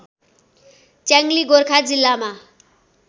च्याङली गोर्खा जिल्लामा